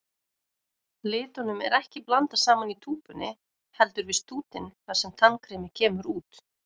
Litunum er ekki blandað saman í túpunni, heldur við stútinn þar sem tannkremið kemur út.